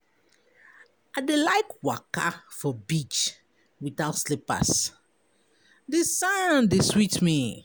I dey like waka for beach without slippers, di sand dey sweet me.